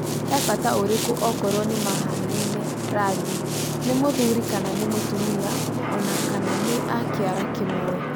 He bata ũrĩkũ okorwo nĩmahanaine rangi, nĩ mũthuri kana nĩ mũtumia ona kana nĩ a kĩara kimwe?